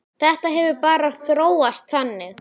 Þetta hefur bara þróast þannig.